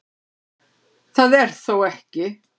Það er þó ekki